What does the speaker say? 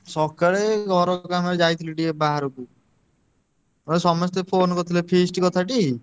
ସକାଳେ ଘର କାମରେ ଯାଇଥିଲି ଟିକେ ବାହାରକୁ। ଆଉ ସମସ୍ତେ phone କରିଥିଲେ feast କଥାଟି?